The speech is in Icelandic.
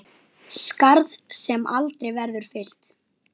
Skarð sem aldrei verður fyllt.